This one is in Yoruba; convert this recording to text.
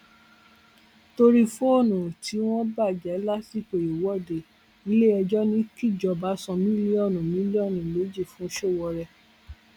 torí fóònù ẹ tí wọn bàjẹ lásìkò ìwọde iléẹjọ ní kíjọba san mílíọnù mílíọnù méjì fún sowore